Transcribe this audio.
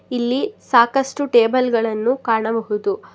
ಇಲ್ಲಿ ಸಾಕಷ್ಟು ಟೇಬಲ್ ಗಳನ್ನು ಕಾಣಬಹುದು.